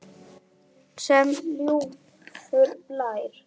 Sem ljúfur blær.